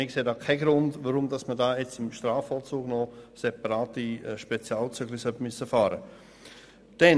Wir sehen keinen Grund, warum man jetzt im Strafvollzug «Spezialzügli» fahren soll.